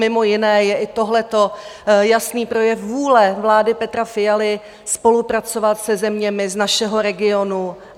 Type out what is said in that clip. Mimo jiné je i tohle jasný projev vůle vlády Petra Fialy spolupracovat se zeměmi z našeho regionu.